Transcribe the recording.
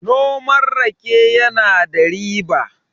noman rake yana da riba